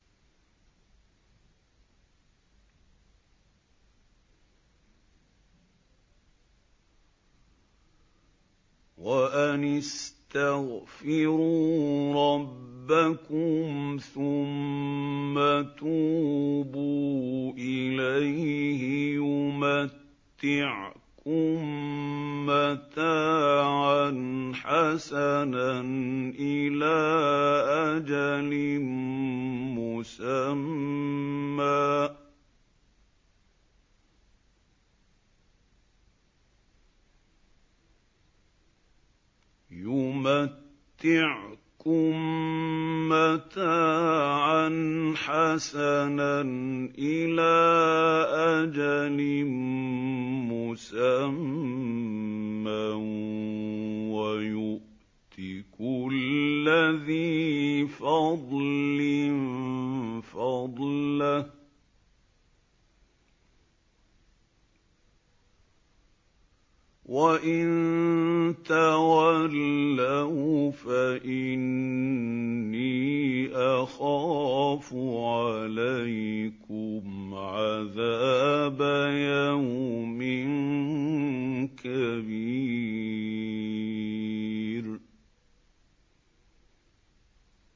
وَأَنِ اسْتَغْفِرُوا رَبَّكُمْ ثُمَّ تُوبُوا إِلَيْهِ يُمَتِّعْكُم مَّتَاعًا حَسَنًا إِلَىٰ أَجَلٍ مُّسَمًّى وَيُؤْتِ كُلَّ ذِي فَضْلٍ فَضْلَهُ ۖ وَإِن تَوَلَّوْا فَإِنِّي أَخَافُ عَلَيْكُمْ عَذَابَ يَوْمٍ كَبِيرٍ